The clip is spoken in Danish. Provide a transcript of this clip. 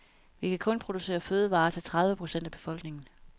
Vi kan kun producere fødevarer til tredive procent af befolkningen.